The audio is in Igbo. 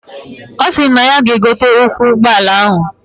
Osiri nay ya ga egote ụkwụ ugbọ ala ahụ